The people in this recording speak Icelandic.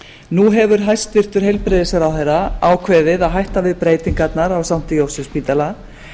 nú hefur hæstvirtur heilbrigðisráðherra ákveðið að hætta við breytingarnar á sankti jósefsspítala